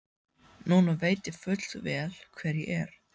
Núna veit ég fullvel hver ég er.